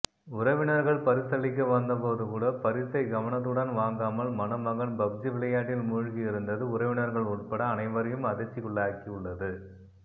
உறவினர்கள் பரிசளிக்க வந்தபோது கூட பரிசை கவனத்துடன் வாங்காமல் மணமகன் பப்ஜி விளையாட்டில் மூழ்கியிருந்தது உறவினர்கள் உள்பட அனைவரையும் அதிர்ச்சிக்குள்ளாகியுள்ளது